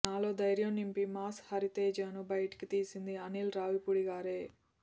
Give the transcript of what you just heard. నాలో ధైర్యం నింపి మాస్ హరితేజను బయటకు తీసింది అనీల్ రావిపూడిగారే